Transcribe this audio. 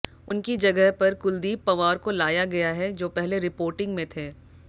उनकी जगह पर कुलदीप पंवार को लाया गया है जो पहले रिपोर्टिंग में थे